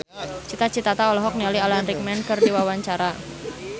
Cita Citata olohok ningali Alan Rickman keur diwawancara